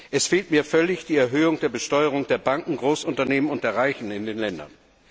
Es fehlt mir völlig die Erhöhung der Besteuerung der Banken, der Großunternehmen und der Reichen in den Ländern.